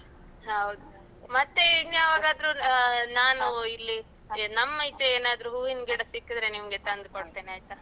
ಹೌದು ಮತ್ತೆ ಇನ್ಯಾವಾಗಾದ್ರೂ ಅ ನಾನು ಇಲ್ಲಿ ಎ ನಮ್ಮೀಚೆ ಏನಾದ್ರೂ ಹೂವಿನ್ ಗಿಡ ಸಿಕ್ಕಿದ್ರೆ ನಿಮ್ಗೆ ತಂದು ಕೊಡ್ತೇನಾಯ್ತ?